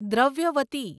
Dravyavati